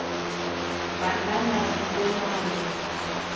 ba nanas bonanno